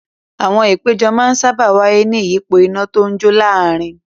Àwọn ìpéjọ máa ń sáábà wáyé ní ìyípo iná tó ń jó láàárin.